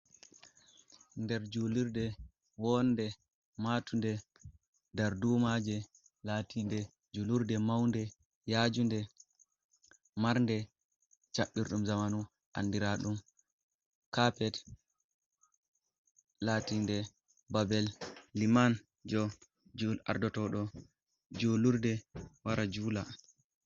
Nder julurde wonde matunde darduma je latinde julurde maunde yajunde marnde cabbllloirɗum zamanu andiraɗum cappet. latinde babel liman jo ardotoɗo julurde wara jula.